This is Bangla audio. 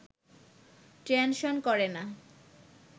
টেনশন করে না